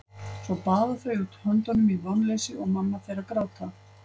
Svo baða þau út höndunum í vonleysi og mamma fer að gráta.